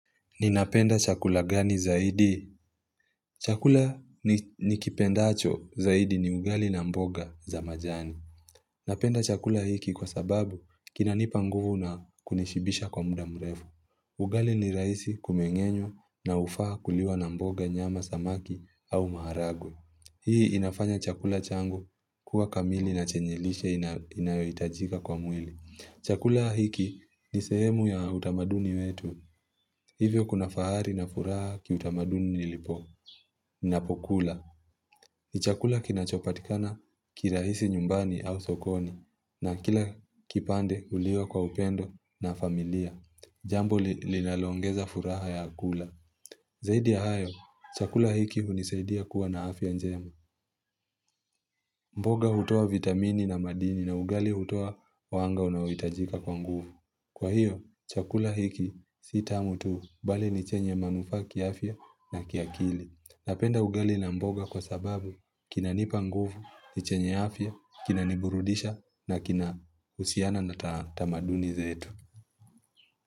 Ninapenda chakula gani zaidi? Chakula nikipendacho zaidi ni ugali na mboga za majani. Napenda chakula hiki kwa sababu kinanipa nguvu na kunishibisha kwa muda mrefu. Ugali ni rahisi kumenge'nywa na hufaa kuliwa na mboga, nyama, samaki au maharagwe. Hii inafanya chakula changu kuwa kamili na chenye lishe inayohitajika kwa mwili. Chakula hiki ni sehemu ya utamaduni wetu. Hivyo kuna fahari na furaha kiutamaduni nilipo, ninapokula. Ni chakula kinachopatikana kirahisi nyumbani au sokoni, na kila kipande huliwa kwa upendo na familia. Jambo linaloongeza furaha ya kula. Zaidi ya hayo, chakula hiki hunisaidia kuwa na afya njema. Mboga hutoa vitamini na madini na ugali hutoa mwanga unaohitajika kwa nguvu. Kwa hiyo, chakula hiki si tamu tu, bali ni chenye manufaa kiafya na kiakili. Napenda ugali na mboga kwa sababu kinanipa nguvu, ni chenye afya, kinaniburudisha na kinahusiana na tamaduni zetu.